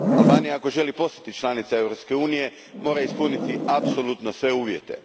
Albanija, ako želi postati članica Europske unije, mora ispuniti apsolutno sve uvjete.